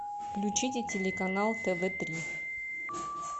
включите телеканал тв три